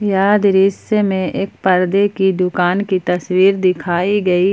यह दृश्य मे एक पर्दे की दुकान की तस्वीर दिखाई गई।